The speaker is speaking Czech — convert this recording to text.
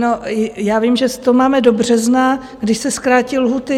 No, já vím, že to máme do března, když se zkrátí lhůty.